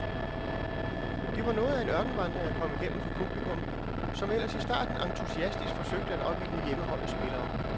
Det var noget af en ørkenvandring at komme igennem for publikum, som ellers i starten entusiastisk forsøgte at opildne hjemmeholdets spillere.